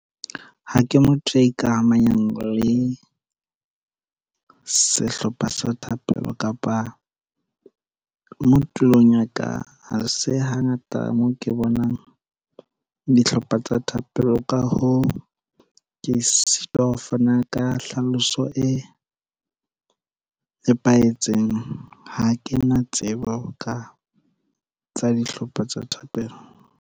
Ha ke motho ya ikamahanyang le sehlopha sa thapelo kapa moo tulong ya ka, ha se hangata moo ke bonang dihlopha tsa thapelo, ka hoo, ke sitwa ho fana ka tlhaloso e nepahetseng. Ha ke na tsebo ka tsa dihlopha tsa thapelo.